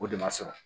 O de ma sɔrɔ